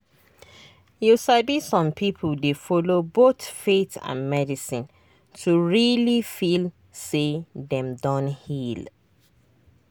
you sabi some people dey follow both faith and medicine to really feel say dem don heal.